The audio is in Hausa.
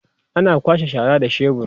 ana kwasha shara da shebur